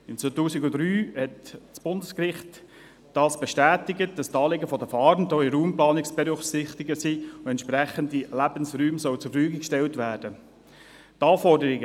Im Jahr 2003 bestätigte das Bundesgericht, dass die Anliegen der Fahrenden auch bei der Raumplanung zu berücksichtigen seien und entsprechende Lebensräume zur Verfügung gestellt werden sollen.